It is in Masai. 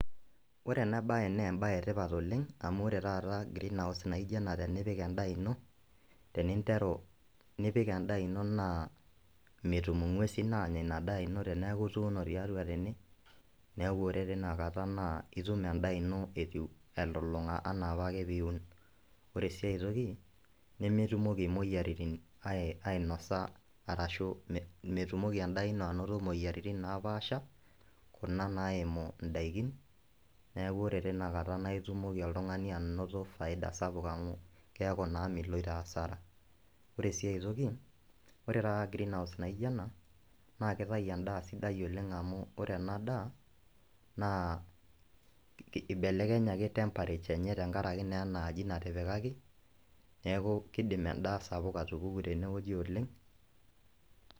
Ore ena bae naa mbae etipat oleng' amu ore taata greenhouse naijo ena tenipik enadaa ino teninteru nipik endaa ino naa metum enkuesin aanya ina daa ino teneeku ituuno tiatua tene, neeku ore tina kata nitum endaa ino etiu elolonka anaapake piun. Ore sii aitoki nemetum imoriyiarin ainosa arashu metumoki endaa ino ainoto imoriyiarin napaasha kuna naimu indaikin, neeku tinakata itumoki oltungani anoto faida sapuk amu keeku naa miloito asara. Ore sii aitoki ore taata greenhouse naijo ena naa kitau indaa sidai oleng' amu ore ena daa ibelekenyaki temperature enye tenkaraki naa ena aji natipikaki neeku kiidim endaa sapuk atupuku tenewoji oleng'.